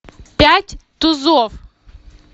пять тузов